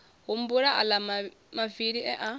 humbula aḽa mavili e a